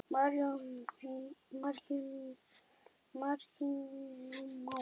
Marinó Már.